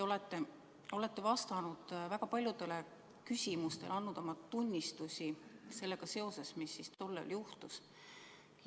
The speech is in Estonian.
Te olete vastanud väga paljudele küsimustele, andnud oma tunnistusi selle kohta, mis tol ööl juhtus.